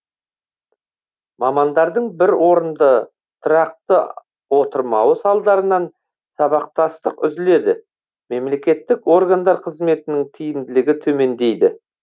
мамандардың бір орында тұрақты отырмауы салдарынан сабақтастық үзіледі мемлекеттік органдар қызметінің тиімділігі төмендейді